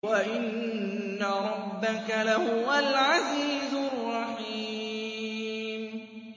وَإِنَّ رَبَّكَ لَهُوَ الْعَزِيزُ الرَّحِيمُ